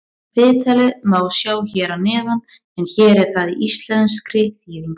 Viðtalið má sjá hér að neðan en hér er það í íslenskri þýðingu.